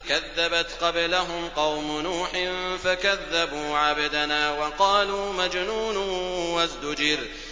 ۞ كَذَّبَتْ قَبْلَهُمْ قَوْمُ نُوحٍ فَكَذَّبُوا عَبْدَنَا وَقَالُوا مَجْنُونٌ وَازْدُجِرَ